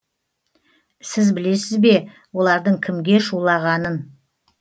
сіз білесіз бе олардың кімге шулағанын